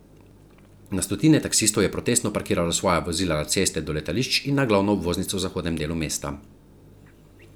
Na stotine taksistov je protestno parkiralo svoja vozila na ceste do letališč in na glavno obvoznico v zahodnem delu mesta.